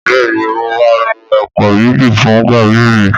Bẹ́ẹ̀ni mo máa lo ẹ̀pà méjì fún gàrí mi